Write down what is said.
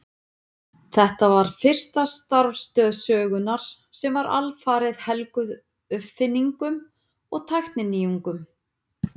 Þetta var fyrsta starfstöð sögunnar sem var alfarið helguð uppfinningum og tækninýjungum.